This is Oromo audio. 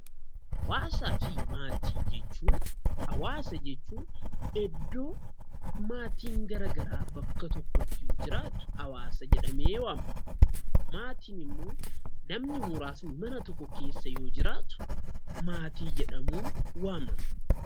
Hawaasaa fi maatii jechuun hawaasa jechuun iddoo maatiin garagaraa bakka tokkotti jiraatu hawaasa jedhamee waamama. Maatiin immoo namni muraasni mana tokko keessa yoo jiraatu maatii jedhamuun waamama.